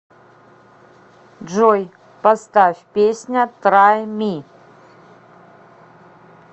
джой поставь песня трай ми